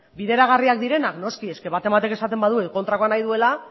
bideragarriak direnak noski baten batek esaten badu kontrakoa nahi duela